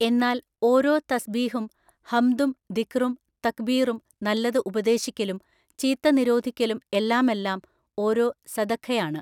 എന്നാൽ ഓരോ തസ്ബീഹും ഹംദും ദിക്റും തക്ബീറും നല്ലത് ഉപദേശിക്കലും ചീത്ത നിരോധിക്കലും എല്ലാമെല്ലാം ഓരോ സദഖയാണ്.